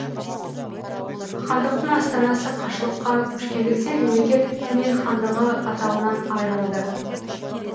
хандықтың астанасы қашлыққа көшкендіктен мемлекет түмен хандығы атауынан айырылды